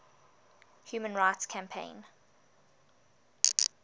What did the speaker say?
human rights campaign